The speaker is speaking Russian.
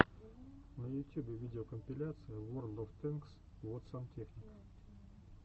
на ютюбе видеокомпиляция ворлд оф тэнкс вот сантехник